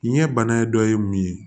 Nin ye bana dɔ ye mun ye